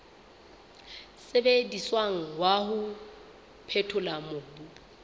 sebediswang wa ho phethola mobu